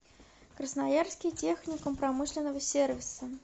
красноярский техникум промышленного сервиса